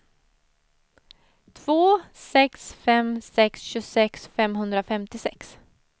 två sex fem sex tjugosex femhundrafemtiosex